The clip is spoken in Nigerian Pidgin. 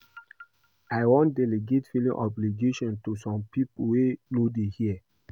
I wan delegate filing obligation to some people wey no dey here